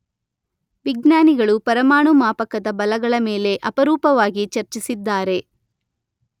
ವಿಜ್ಞಾನಿಗಳು ಪರಮಾಣು ಮಾಪಕದ ಬಲಗಳ ಮೇಲೆ ಅಪರೂಪವಾಗಿ ಚರ್ಚಿಸಿದ್ದಾರೆ.